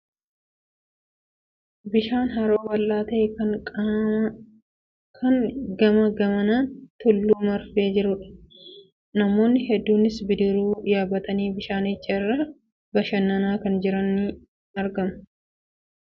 Bishaan haroo bal'aa ta'e, kan gamaa gamanaan tulluun marfee jirudha. Namoonni hedduunis bidiruu yaabbatanii bishaanicha irra bashannanaa kan jiran ni argamu. Faayidaan haroowwan naannoo keenya jiran guddinaa fi dagaagina bu'uuraalee misoomaaf akkasumas biyyaaf qaban maali?